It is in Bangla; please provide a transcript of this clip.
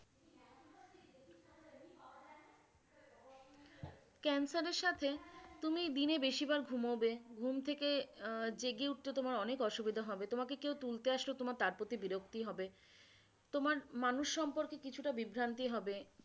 cancer এর সাথে তুমি দিনে বেশিবার ঘুমোবে, ঘুম থেকে আহ জেগে উঠতে তোমার অনেক অসুবিধা হবে, তোমাকে কেও তুলতে আসলেও তোমার তার প্রতি বিরক্তি হবে তোমার মানুষ সম্পর্কে কিছুটা বিভ্রান্তি হবে,